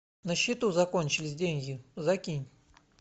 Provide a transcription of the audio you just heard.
на счету закончились деньги закинь